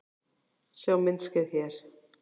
Sjá myndskeið hér